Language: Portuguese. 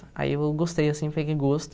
Aí eu gostei, assim, peguei gosto.